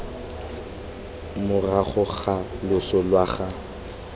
morago ga loso lwa ga